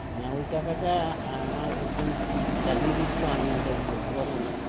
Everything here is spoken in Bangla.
না ঐ টাকাটা আমার একজন চালিয়ে দিয়েছিল আমি ওটা বলতে পারবোনা